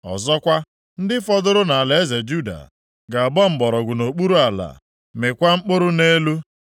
Ọzọkwa, ndị fọdụrụ nʼalaeze Juda ga-agba mgbọrọgwụ nʼokpuru ala, mịkwaa mkpụrụ nʼelu.